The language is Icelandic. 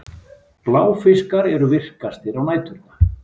Bláfiskar eru virkastir á næturnar.